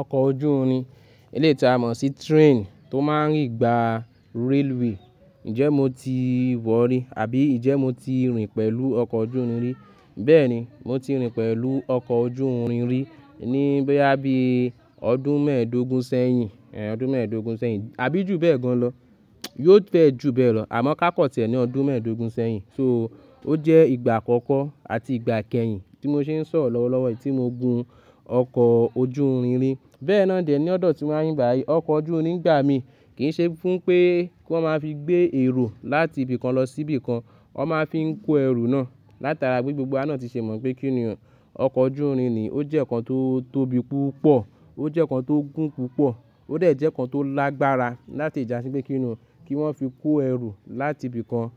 Ọkọ̀ ojú irin, eléyi tì a mọ̀ sí train tó máa ń rí gba railway. Ǹjẹ́ mo ti wọ̀ rí, àbí Ǹjẹ́ mo ti rìn pẹ̀lú ọkọ̀ ojú irin rí? Bẹ́ẹ̀ni, mo ti rìn pẹ̀lú ọkọ̀ ojú irin rí ní bóyá bí i ọdún mẹ́ẹ̀dógún sẹ́yìn, èé ọdún mẹ́ẹ̀dógún sẹ́yìn, àbí jù bẹ́ẹ̀ gan lọ. Yóò fẹ́ ju bẹ́ẹ̀ lọ, àmọ́ ká cut ẹ ní ọdún mẹ́ẹ̀dógún sẹ́yìn. So ó jẹ́ ìgbà àkọ́kọ́ àti ìgbà kẹ́yìn tí mo ṣe ń sọ̀rọ̀ lọ́wọ́lọ́wọ́, tí mo gun ọkọ̀ ojú irin rí. Bẹ́ẹ̀ náà dè ní ọ̀dọ̀ tí wá ń bí bá yí, ọkọ̀ ojú irin ìgbà mi kì í ṣe fún pé kí wọ́n máa fi gbé èrò láti ibìkan lọ sí ibìkan. Wọ́n máa fi ń kó ẹrù náà. Látara bí gbogbo a náà ti ṣe mọ̀ pé kí ni ọ́n, ọkọ̀ ojú irin ni ó jẹ́ nǹkan tó tóbi púpọ̀, ó jẹ́ nǹkan tó gùn púpọ̀, ó dẹ̀ jẹ́ nǹkan tó lágbára láti ìjà sí pé kí ni ọ́n kí wọ́n fi kó ẹrù láti ibìkan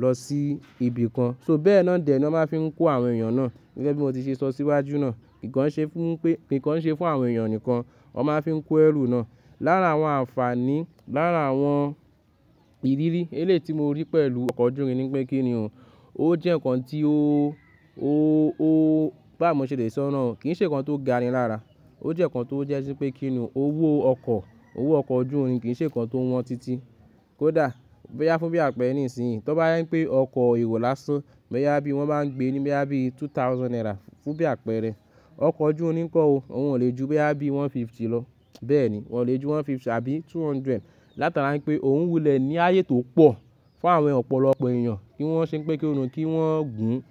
lọ sí ibìkan. So bẹ́ẹ̀ náà dè ni wọ́n máa fi ń kó àwọn èèyàn náà. Gẹ́gẹ́ bí mo ti ṣe sọ síwájú náà, kì ń ṣe fún pé, kì ń ṣe fún àwọn èèyàn nìkan. Wọ́n máa fi ń kó ẹrù náà. Lára àwọn àǹfààní, lára àwọn ìrírí eléyi ti mo rí pẹ̀lú ọkọ̀ ojú irin ni pé kí ni o, ó jẹ́ nǹkan tí ó, ó, ó bá à mó ṣe dé ìsọ̀rọ̀ náà, kì í ṣe nǹkan tó ga ni lára. Ó jẹ́ nǹkan tó jẹ́ sí pé kí ni o, owó ọkọ̀, owó ọkọ̀ ojú irin kì í ṣe nǹkan tó wọ́n títí. Kódà bóyá fún bí àpẹrẹ nísìnyí, tó bá yán pé ọkọ̀ èrò lásán, bóyá bí i wọ́n báa ń gbé ní bóyá bí i two thousand naira fún bí àpẹrẹ. Ọkọ̀ ojú irin kọ́ o, òun ò le ju bí i one fifty lọ. Bẹ́ẹ̀ ni, òun ò le ju one fifty àbí two hundred. Látara pé òun wulẹ̀ ní ààyè tó pọ̀ fún àwọn ọ̀pọ̀lọpọ̀ èèyàn kí wọ́n sì ń pé kí ni o kí wọ́n gùn.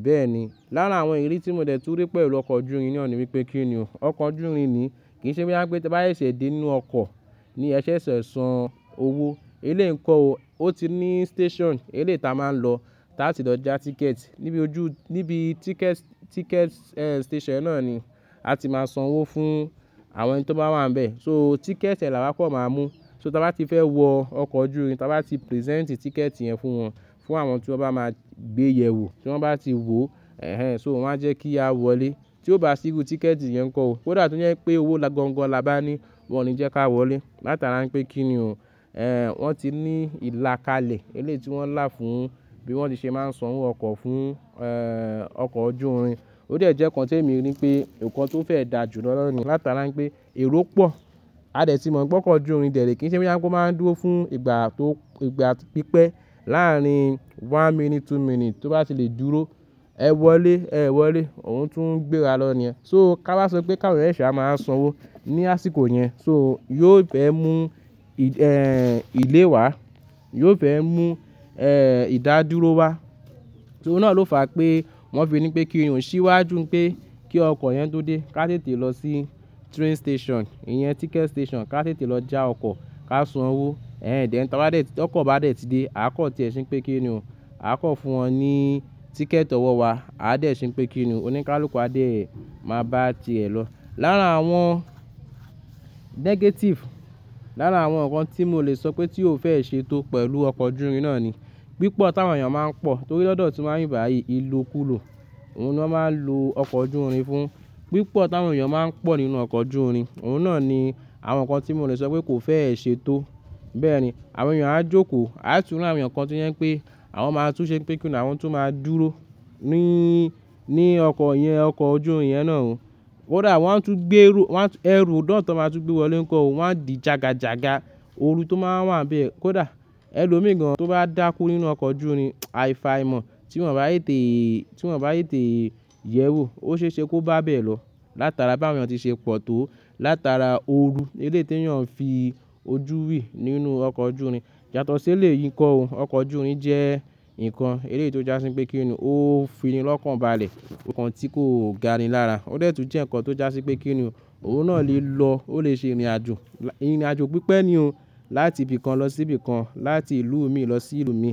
Bẹ́ẹ̀ ni, lára àwọn ìrírí tí mo dẹ̀ tú rí pẹ̀lú ọkọ̀ ojú irin náà ni wípé kí ni ọ́n, ọkọ̀ ojú irin ni kì í ṣe bí i bá yè sé dé nínú ọkọ̀ ni ẹ ṣẹ̀ ṣẹ̀ san owó. Eléyìí kọ́ o, ó ti ní station eléyi ti a máa ń lọ láti lọ ja ticket. Níbi ojú, níbi ticket, ticket station náà ni a ti máa san owó fún àwọn ẹni tó bá wà níbẹ̀. So ticket ẹ làbá pọ̀ máa mú. So tí a bá ti fẹ́ wọ ọkọ̀ ojú irin, tí a bá ti present ticket yẹn fún wọn, fún àwọn tí wọ́n bá máa gbé yẹn wò, tí wọ́n bá ti wò, ẹ́hẹ́n so wọ́n máa jẹ́ kí a wọlé. Tí ó bá sí ru ticket yẹn kọ́ o, kódà tó jẹ́ pé owó gọ́ńgọ́ là bá ní, wọ́n ò ní jẹ́ ká wọlé. Látara pé kí ni o, wọ́n ti ní ìlà kalẹ̀ eléyi ti wọ́n lá fún bí wọ́n ti ṣe máa ń san owó ọkọ̀ fún, ọkọ̀ ojú irin. Ó dà jẹ́ nǹkan tí èmi rí pé nǹkan tó fẹ́ dà jù lọ lọ́wọ́ ni, látara pé èrò pọ̀. A dè tí mo mọ̀ pé ọkọ̀ ojú irin dẹ̀ré kì í ṣe bí i bá yẹ kó máa ń dúró fún ìgbà tó, ìgbà pípẹ́. Láàárín one minute two minute tó bá ti lè dúró, ẹ wọlé, ẹ́ẹ́ wọlé, òun tún ń gbéra lọ ni ẹ́. So ká wá sọ pé káwọn èèyàn ṣẹ̀ṣẹ̀ wá máa san owó ní àsìkò yẹn, so yóò fẹ́ mú ì, delay wa, yóò fẹ́ mú, ìdá dúró wa. So náà ló fà pé wọ́n fi ni pé kí èèyàn ṣíwájú pé kí ọkọ̀ yẹn tó dé, ká tètè lọ sí train station, ìyẹn ticket station, ká tètè lọ já ọkọ̀, ká san owó. Ẹ̀hẹ́n then tí ọkọ̀ bá dè tí dé, a kọ̀ tì ẹ́ sí pé kí ni o, a kọ̀ fún wọn ní ticket ọwọ́ wá, a dè sì ń pé kí ni o oníkálukú a dè máa bá a tiẹ̀ lọ. Lára àwọn negative, lára àwọn nǹkan tí mo lè sọ pé tí ò fẹ́ ṣe tó pẹ̀lú ọkọ̀ ojú irin náà ni, pípọ̀ táwọn èèyàn máa ń pọ̀. Torí lọ́dọ̀ tí wá ń bí bá yí, ilokulo. Òun ló máa ń lo ọkọ̀ ojú irin fún. Pípọ̀ táwọn èèyàn máa ń pọ̀ nínú ọkọ̀ ojú irin, òun náà ni àwọn nǹkan tí mo lè sọ pé kò fẹ́ ṣe tó. Bẹ́ẹ̀ ni, àwọn èèyàn á jókòó, á tú rí àwọn èèyàn kan tí ó jẹ́ pé àwọn máa tú ṣé pé kí ni àwọn tó máa dúró ní, ní ọkọ̀ yẹn, ọkọ̀ ojú irin yẹn náà o. Kódà wọ́n tún gbé èrú, wọ́n tún, èrú ọ̀dọ́ọ̀tọ́ máa tú gbé wọlé kọ́ o, wọ́n á di jagajaga òru tó máa wà níbẹ̀. Kódà Ẹlòmíì gan tó bá dákú nínú ọkọ̀ ojú irin, àìfàìmọ̀ tí wọn bá tètè, tí wọn bá tètè yẹ́ wò, ó ṣe ẹ ṣe kí o bá bẹ̀ lọ látara báwọn èèyàn tí ṣe pọ̀ tó, látara òru eléti èèyàn ń fi ojú rí nínú ọkọ̀ ojú irin. Yátọ̀ si èléyìí ńkọ́ o, ọkọ̀ ojú irin jẹ́ nǹkan èléyìí tó jásí pé kí ni o ó fi ni lọ́kàn bá à lè, nǹkan tí kò ga ni lára. Ó dẹ tún jẹ́ nǹkan tó jásí pé kí ni o òun náà lè lọ, ó lè ṣe ìrìnàjò. Ìrìnàjò pípẹ́ ni o láti ibìkan lọ sí ibìkan, láti ìlú mi lọ sí ìlú mi,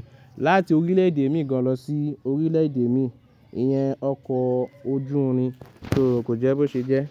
láti orílẹ̀ èdè mi gan lọ sí orílẹ̀ èdè mi. Ìyẹn ọkọ̀ ojú irin so kò jẹ́ bó ṣe jẹ́.